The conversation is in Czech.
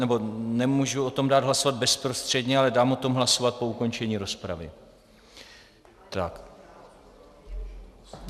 Nemůžu o tom dát hlasovat bezprostředně, ale dám o tom hlasovat po ukončení rozpravy.